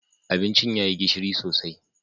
Abincin ya yi gishiri sosai